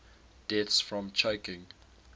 deaths from choking